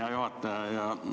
Hea juhataja!